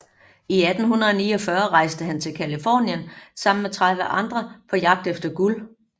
I 1849 rejste han til Californien sammen med 30 andre på jagt efter guld